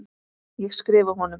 Ég skrifa honum!